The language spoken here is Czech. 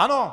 Ano,